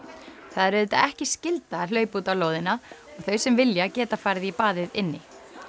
það er auðvitað ekki skylda að hlaupa út á lóðina og þau sem vilja geta farið í baðið inni